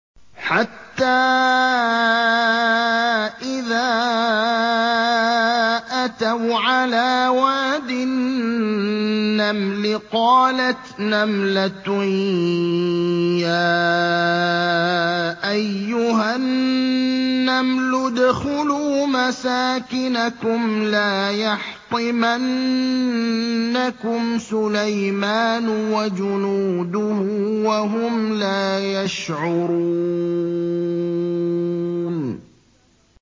حَتَّىٰ إِذَا أَتَوْا عَلَىٰ وَادِ النَّمْلِ قَالَتْ نَمْلَةٌ يَا أَيُّهَا النَّمْلُ ادْخُلُوا مَسَاكِنَكُمْ لَا يَحْطِمَنَّكُمْ سُلَيْمَانُ وَجُنُودُهُ وَهُمْ لَا يَشْعُرُونَ